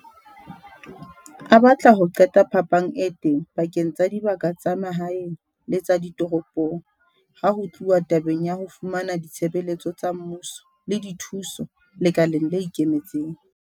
A batla ho qeta phapang e teng pakeng tsa dibaka tsa mahaeng le tsa ditoropong ha ho tluwa tabeng ya ho fumana ditshebeletso tsa mmuso le dithuso lekaleng le ikemetseng.